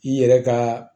I yɛrɛ ka